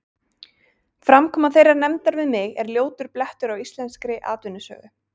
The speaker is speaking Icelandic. Framkoma þeirrar nefndar við mig er ljótur blettur á íslenskri atvinnusögu.